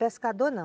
Pescador não.